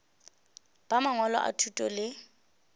ba mangwalo a thuto le